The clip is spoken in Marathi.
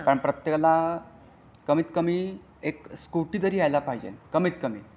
प्रत्येकाला कमीत कमी एक स्कुटी तरी यायला पाहिजे कमीत कमी.